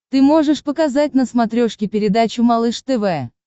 ты можешь показать на смотрешке передачу малыш тв